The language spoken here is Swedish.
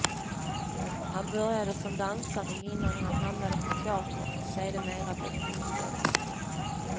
Han började som dansare innan han hamnade på teatern och sedermera blev filmskådespelare.